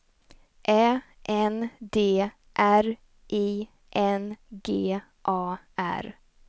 Ä N D R I N G A R